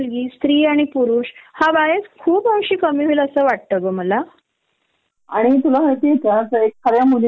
अगदी खर अगदी खर! मी टोटली रिलेट करते याला आपली मातृत्वाची सुट्टी म्हणजे यांच्या साठी एक टेंशन चा विषय असतो.